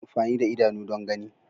Ana amfani da idanu don gani.